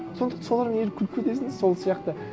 солармен еріп күліп кетесің сол сияқты